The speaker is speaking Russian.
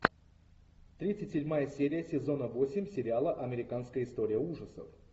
тридцать седьмая серия сезона восемь сериала американская история ужасов